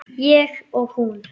Ég og hún.